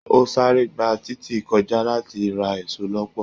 O sáré gbà títí kọjá láti ra èso lọpọ.